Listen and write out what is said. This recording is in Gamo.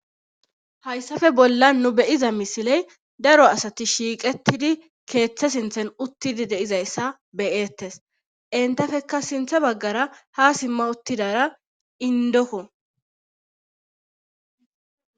Hayssafe bolla nu beyiza misiley daro asati shiiqettidi keeththe sinthen uttidi deizayssa beyeettes entafeka sinthe baggara ha simma uttidara indoko.